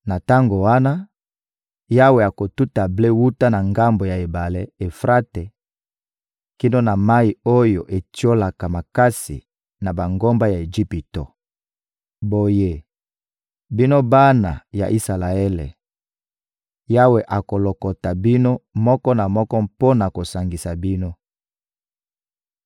Na tango wana, Yawe akotuta ble wuta na ngambo ya ebale (Efrate) kino na mayi oyo etiolaka makasi na bangomba ya Ejipito. Boye, bino bana ya Isalaele, Yawe akolokota bino moko na moko mpo na kosangisa bino.